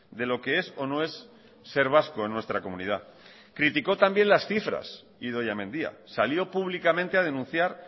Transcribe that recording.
de lo que es o no es ser vasco en nuestra comunidad criticó también las cifras idoia mendia salió públicamente a denunciar